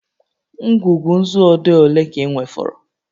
Ngwugwu nzu odee ole ka ị nwefọrọ?